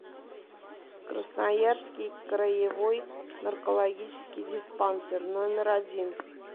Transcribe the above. красноярский краевой наркологический диспансер номер один